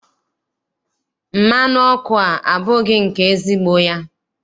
Mmanụ ọkụ a abụghị nke ezigbo ya.